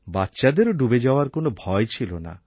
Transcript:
বাচ্চাদেরও ডুবে যাওয়ার কোনো ভয় ছিল না